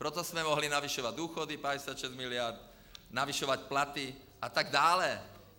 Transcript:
Proto jsme mohli navyšovat důchody, 56 miliard, navyšovat platy atd.